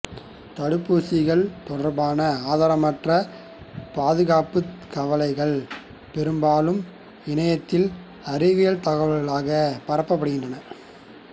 தடுப்பூசிகள் தொடர்பான ஆதாரமற்ற பாதுகாப்பு கவலைகள் பெரும்பாலும் இணையத்தில் அறிவியல் தகவல்களாகப் பரப்பப்படுகின்றன